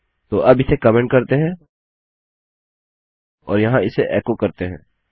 तो अब इसे कमेन्ट करते हैं और यहाँ इसे एको करते हैं